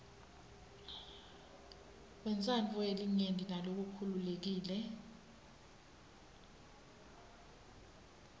wentsandvo yelinyenti nalokhululekile